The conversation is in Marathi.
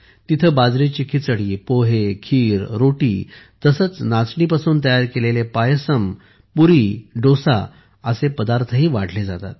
तिथे बाजरीची खिचडी पोहे खीर आणि रोटी तसेच नाचणीपासून तयार केलेले पायसम पुरी आणि डोसा असे पदार्थही वाढले जातात